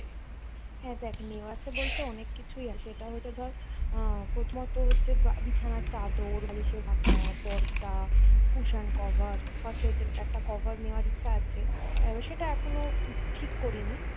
"হ্যাঁ দেখ নেওয়ার আছে বলতে অনেক কিছুই আছে এটা হতে ধর আহ প্রথমত হচ্ছে বা~ বিছানার চাদর, বালিশের ঢাকা, পর্দা, কুশান কভার